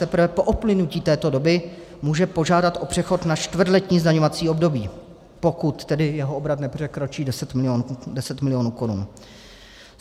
Teprve po uplynutí této doby může požádat o přechod na čtvrtletní zdaňovací období, pokud tedy jeho obrat nepřekročí 10 milionů korun.